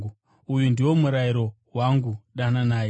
Uyu ndiwo murayiro wangu: Dananai.